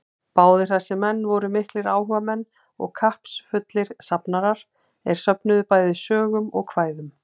Báðir þessir menn voru miklir áhugamenn og kappsfullir safnarar, er söfnuðu bæði sögum og kvæðum.